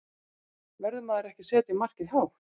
Verður maður ekki að setja markið hátt?